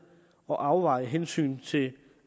og afveje hensyn til